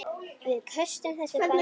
Við köstum þessu bara út.